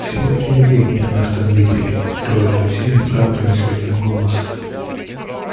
все привидения нас там видели трое друзей оправдывались в один голос